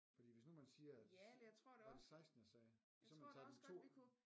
Fordi hvis nu man siger at var det 16 jeg sagde så kan man tage den 2